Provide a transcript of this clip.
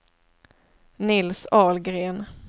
Nils Ahlgren